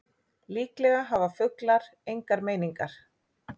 Líklega hafa fuglar engar meiningar.